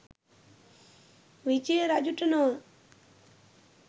විජය රජුට නොව